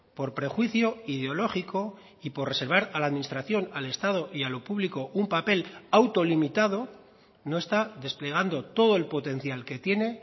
por prejuicio ideológico y por reservar a la administración al estado y a lo público un papel autolimitado no está desplegando todo el potencial que tiene